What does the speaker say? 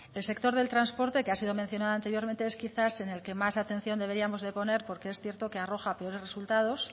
el sector del transporte que ha sido mencionado anteriormente es quizás en el que más atención deberíamos de poner porque es cierto que arroja peores resultados